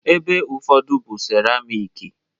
ebe ụfọdụ bụ seramiki